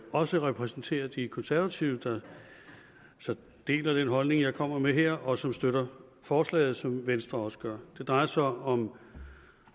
også repræsenterer de konservative der deler den holdning jeg kommer med her og som støtter forslaget som venstre også gør det drejer sig om